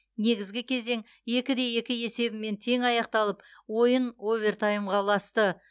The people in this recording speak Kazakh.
негізгі кезең екі де екі есебімен тең аяқталып ойын овертаймға ұласты